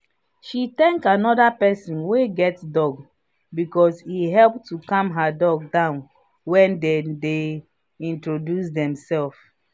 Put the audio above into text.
she thank another person wey get dog because he help to calm her dog down when they dey introduce themselves.